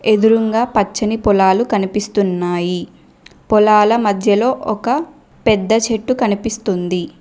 ఎదురుంగా పచ్చని పొలాలు కనిపిస్తున్నాయి పొలాల మధ్యలో ఒక పెద్ద చెట్టు కనిపిస్తుంది.